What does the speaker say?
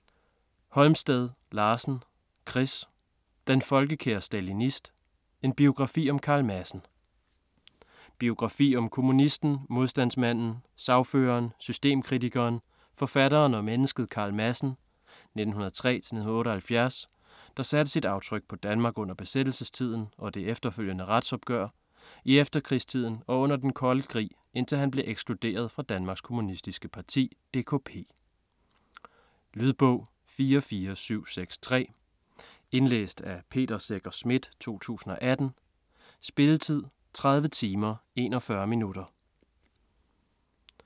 Holmsted Larsen, Chris: Den folkekære stalinist: en biografi om Carl Madsen Biografi om kommunisten, modstandsmanden, sagføreren, systemkritikeren, forfatteren og mennesket Carl Madsen (1903-1978), der satte sit aftryk på Danmark under besættelsestiden og det efterfølgende retsopgør, i efterkrigstiden og under den kolde krig, indtil han blev ekskluderet fra Danmarks Kommunistiske Parti (DKP). Lydbog 44763 Indlæst af Peter Secher Schmidt, 2018. Spilletid: 30 timer, 41 minutter.